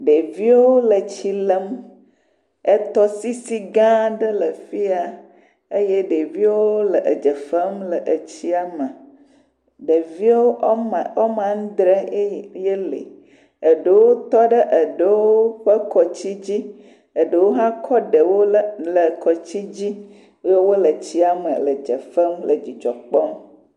Ɖeviwo le tsi lem. Etɔsisi gãa aɖe le afi ya. Eye ɖeviwo le edze fem le etsia me. Ɖeviwo wɔme, wɔme andree ee ye le. Eɖewo tɔ ɖe eɖewo ƒe kɔtsi dzi. Eɖewo hã kɔ ɖewo lé le kɔtsi dzi. Eye wole tsia me le dze fem le dzidzɔ kpɔm.